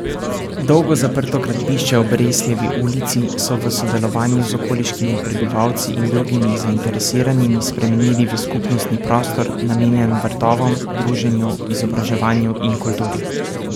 Dolgo zaprto gradbišče ob Resljevi ulici so v sodelovanju z okoliškimi prebivalci in drugimi zainteresiranimi spremenili v skupnostni prostor, namenjen vrtovom, druženju, izobraževanju in kulturi.